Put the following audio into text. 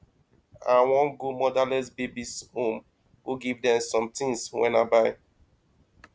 i wan go motherless babies home go give dem some things wey i buy